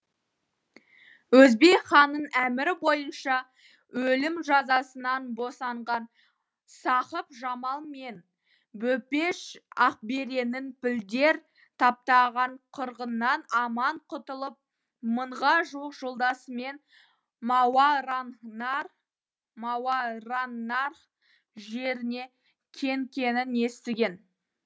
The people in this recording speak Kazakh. өзбек ханның әмірі бойынша өлім жазасынан босанған сақып жамал мен бөбеш ақбереннің пілдер таптаған қырғыннан аман құтылып мыңға жуық жолдасымен мауараннарх жеріне кеткенін естіген